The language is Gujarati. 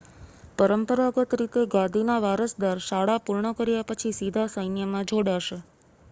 પરંપરાગત રીતે ગાદીના વારસદાર શાળા પૂર્ણ કર્યા પછી સીધા સૈન્યમાં જોડાશે